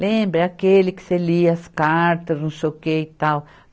Lembra, é aquele que você lia as cartas, não sei o que e tal.